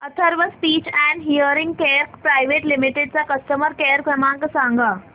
Atharva speech and hearing care private limited चा customer care क्रमांक सांगा